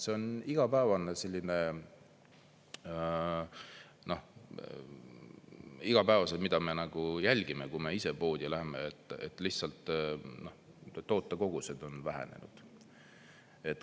See on igapäevane, mida me jälgime, kui me ise poodi lähme, lihtsalt tootekogused on vähenenud.